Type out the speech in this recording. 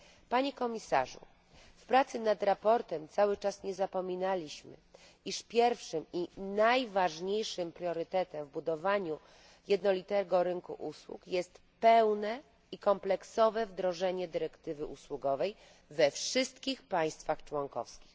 Panie Komisarzu, w pracy nad sprawozdaniem cały czas nie zapominaliśmy, iż pierwszym i najważniejszym priorytetem w budowaniu jednolitego rynku usług jest pełne i kompleksowe wdrożenie dyrektywy usługowej we wszystkich państwach członkowskich.